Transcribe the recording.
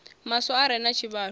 maswa a re na tshivhalo